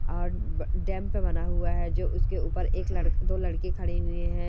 और ब डैम पे बना हुआ है जो उसके ऊपर एक लड़क दो लड़की खड़ी हुइ हैं।